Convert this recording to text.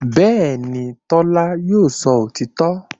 Bẹ́ẹ̀ni, Tọ́lá yóò sọ òtítọ́